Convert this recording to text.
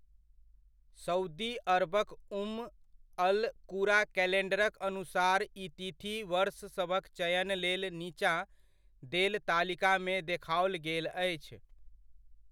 Saudi अरबक Umm al Qura कैलेण्डरक अनुसार ई तिथि वर्ष सभक चयन लेल नीचाँ देल तालिकामे देखाओल गेल अछि।